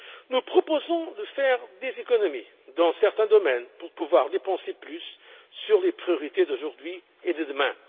Nous proposons de faire des économies dans certains domaines pour pouvoir dépenser plus sur les priorités d'aujourd'hui et de demain.